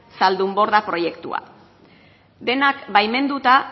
zaldunborda proiektua denak baimenduta